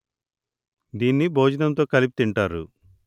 దీన్ని భోజనంతో కలిపి తింటారు